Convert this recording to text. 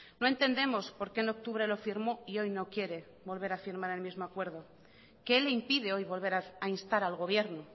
no entendemos por qué en octubre lo firmó y hoy no quiere volver a firmar el mismo acuerdo qué le impide hoy volver a instar al gobierno